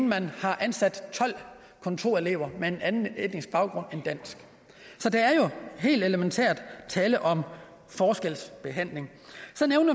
man har ansat tolv kontorelever med en anden etnisk baggrund end dansk så der er jo helt elementært tale om forskelsbehandling